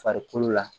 Farikolo la